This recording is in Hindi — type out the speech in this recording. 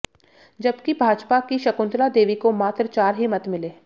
जबकि भाजपा की शकुंतला देवी को मात्र चार ही मत मिले